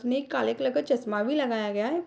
नेक काले कलर का चश्मा भी लगाया गया है।